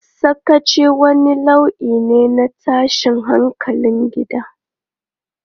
Sakaci wani nau'i ne na tashin hankalin gida.